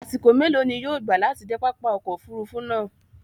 Àṣìkò mẹlọ ni yóò gbà láti de pápá ọkọ̀ òfurufú náá?